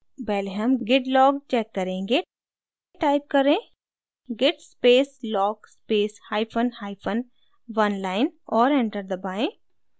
पहले हम git log check करेंगे टाइप करें git space log space hyphen hyphen oneline और enter दबाएँ